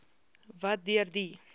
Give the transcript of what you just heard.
wat deur die